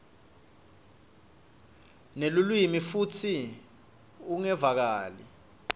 nelulwimi futsi ungevakali